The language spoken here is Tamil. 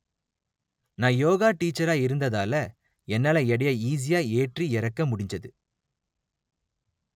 நா யோகா டீச்சரா இருந்ததால என்னால எடையை ஈஸியா ஏற்றி இறக்க முடிஞ்சது